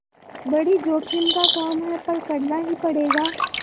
बड़ी जोखिम का काम है पर करना ही पड़ेगा